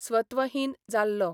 स्वत्वहीन जाल्लो.